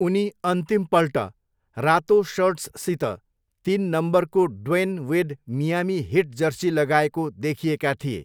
उनी अन्तिमपल्ट रातो सर्ट्ससित तिन नम्बरको Dwyane Wade Miami Heat jersey लगाएको देखिएका थिए।